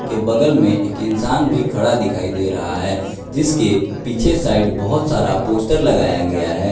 के बगल में एक इंसान भी खड़ा दिखाई दे रहा है जिसके पीछे साइड बहोत सारा पोस्टर लगाया गया है।